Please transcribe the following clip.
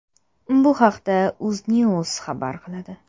Bu haqda Uznews xabar qiladi .